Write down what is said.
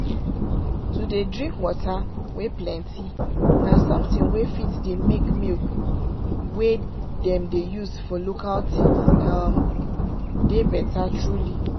to dey drink water wey plenty na something wey fit dey make milk wey them dey use for local things dey better truly.